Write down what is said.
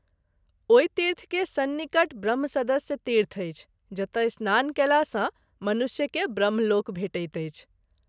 ओहि तीर्थ के सन्निकट ब्रम्हसदस्तीर्थ अछि जतय स्नान कएला सँ मनुष्य के ब्रह्मलोक भेटैत अछि।